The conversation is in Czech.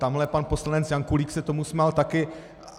Tamhle pan poslanec Janulík se tomu smál také.